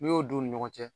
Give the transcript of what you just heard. N'i y'o don u ni ɲɔgɔn cɛ